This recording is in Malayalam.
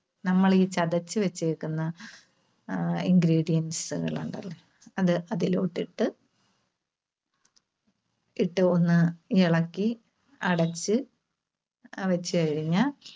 നമ്മള് ഈ ചതച്ചുവെച്ചേക്കുന്ന ആഹ് ingredients കൾ ഉണ്ടല്ലോ, അത് അതിലോട്ട് ഇട്ട്, ഇട്ട് ഒന്ന് ഇളക്കി അടച്ച് അഹ് വെച്ചുകഴിഞ്ഞാൽ